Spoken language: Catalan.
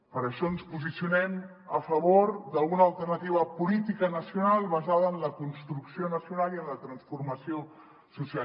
per això ens posicionem a favor d’una alternativa política nacional basada en la construcció nacional i en la transformació social